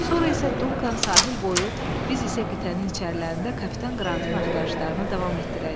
Sonra isə Dunkan sahil boyu, biz isə qitənin içərilərində kapitan Qrantın axtarışlarına davam etdirərik.